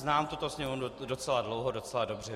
Znám tuto Sněmovnu docela dlouho, docela dobře.